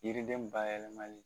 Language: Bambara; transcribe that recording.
Yiriden bayɛlɛmali